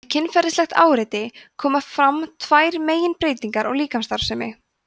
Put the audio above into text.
við kynferðislegt áreiti koma fram tvær meginbreytingar á líkamsstarfsemi